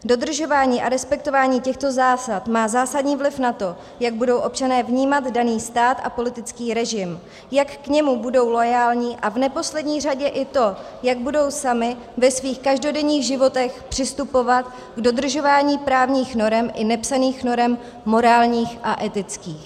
Dodržování a respektování těchto zásad má zásadní vliv na to, jak budou občané vnímat daný stát a politický režim, jak k němu budou loajální, a v neposlední řadě i to, jak budou sami ve svých každodenních životech přistupovat k dodržování právních norem i nepsaných norem morálních a etických.